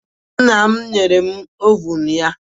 Nna m nyere m ovun ya